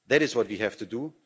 That is what we have to